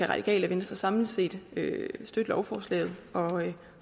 radikale venstre samlet set støtte lovforslaget